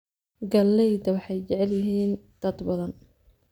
Galleyda waxay jecel yihiin dad badan.